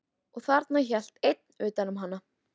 Og þarna hélt einn utan um hana.